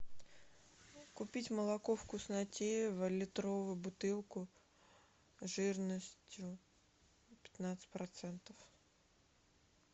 купить молоко вкуснотеево литровую бутылку жирностью пятнадцать процентов